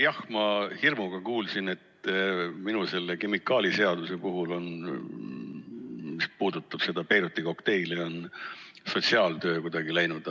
Jah, ma hirmuga kuulasin, et minu kemikaaliseadus, mis puudutab seda Beiruti kokteili, on sotsiaaltööga kuidagi segamini läinud.